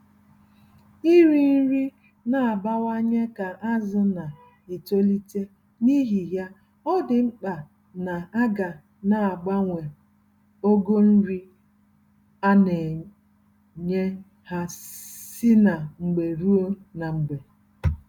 Iri nri na-abawanye ka azụ na-etolite, n'ihi ya, ọdị mkpa na aga naagbanwe ogo nri a-nenye ha si na mgbe ruo na mgbe